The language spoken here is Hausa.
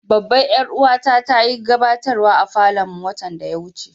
Babban yar uwa ta ta yi gabatarwa a falon mu watan da ya wuce.